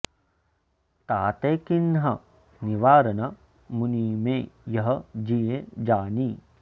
ताते कीन्ह निवारन मुनि मैं यह जियँ जानि